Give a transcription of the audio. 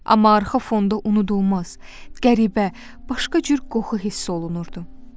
Amma arxa fonda unudulmaz, qəribə, başqa cür qoxu hiss olunurdu.